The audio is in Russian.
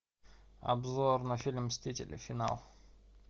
обзор на фильм мстители финал